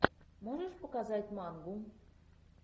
можешь показать мангу